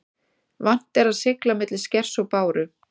Vant er að sigla milli skers og báru.